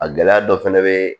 A gɛlɛya dɔ fɛnɛ be yen